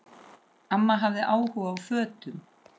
Amma hafði áhuga á fötum.